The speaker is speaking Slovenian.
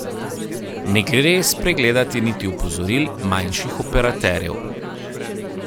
Ne gre spregledati niti opozoril manjših operaterjev.